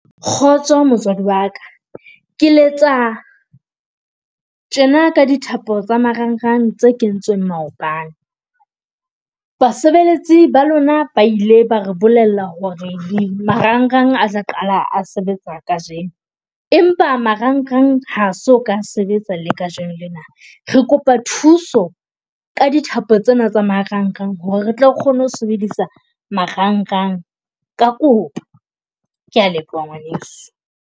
Kgotso motswadi waka ke letsa tjena ka dithapo tsa marangrang tse kentsweng maobane. Basebeletsi ba lona ba ile ba re bolella hore marangrang a tla qala a sebetsa kajeno, empa marang rang ha so ka sebetsa le kajeno lena. Re kopa thuso ka dithapo tsena tsa marang rang hore re tlo kgona ho sebedisa marangrang, ka kopo kea leboha ngwaneso.